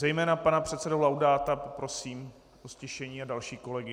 Zejména pana předsedu Laudáta poprosím o ztišení a další kolegy.